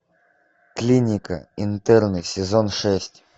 клиника интерны сезон шесть